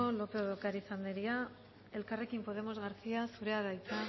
lópez de ocariz andrea elkarrekin podemos garcía andrea zurea da hitza